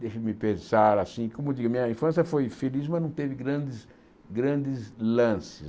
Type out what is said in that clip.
Deixa-me pensar assim, como eu digo, minha infância foi feliz, mas não teve grandes grandes lances.